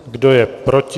Kdo je proti?